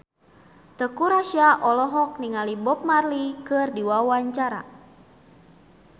Teuku Rassya olohok ningali Bob Marley keur diwawancara